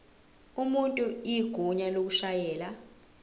umuntu igunya lokushayela